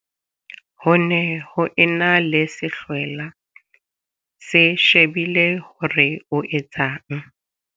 Ho ne ho e na le sehlwela se shebile hore o etsang.